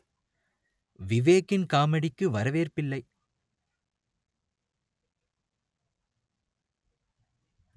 விவேக்கின் காமெடிக்கும் வரவேற்பில்லை